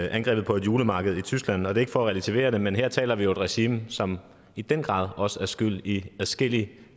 angrebet på et julemarked i tyskland og det er ikke for at relativere det men her taler vi jo om et regime som i den grad også er skyld i at adskillige